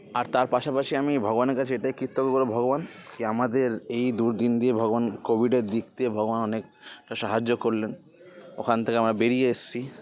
আর তার পাশাপাশি আমি ভগবানের কাছে এটাই কৃতজ্ঞ করবো ভগবান কি আমাদের এই দুর্দিন দিয়ে ভগবান covid -এর দিগ দিয়ে ভগবান অনেক সাহায্য করলেন ওখান থেকে আমরা বেড়িয়ে এসছি